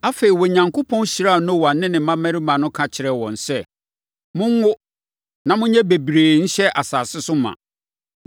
Afei, Onyankopɔn hyiraa Noa ne ne mmammarima no ka kyerɛɛ wɔn sɛ, “Monwo, na monyɛ bebree nhyɛ asase so ma.